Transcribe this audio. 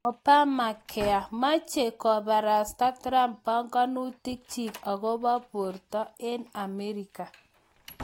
Obamacare: Meche koborosta Trump panganutik chiik akobo borto eng Amerika